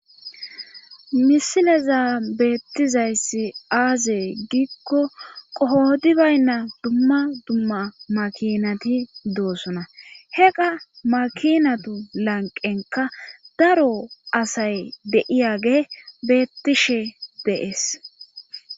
Misileza beettizayssi aazee giikko qoodi baynna dumma dumma makinati doosona he qa makinatu lanqenka daro asay deiyage beettishe dees.